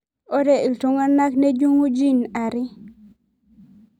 Ore ltunganak nejungu gene are.